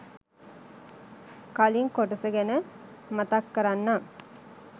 කලින් කොටස ගැන මතක් කරන්නම්